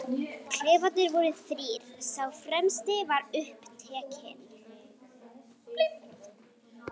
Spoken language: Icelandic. Klefarnir voru þrír, sá fremsti var upptekinn.